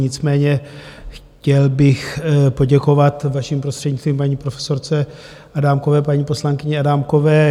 Nicméně chtěl bych poděkovat vaším prostřednictvím paní profesorce Adámkové, paní poslankyni Adámkové.